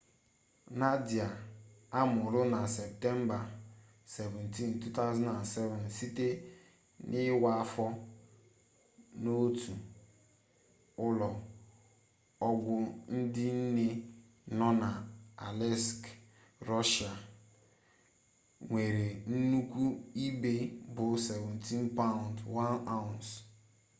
nadia amụrụ na septemba 17 2007 site n'iwa afọ n'otu ụlọ ọgwụ ndị nne nọ na aleisk rọshịa nwere nnukwu ibu bụ 17 paụnd 1 ounce